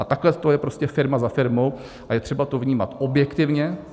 A takhle to je prostě firma za firmou a je třeba to vnímat objektivně.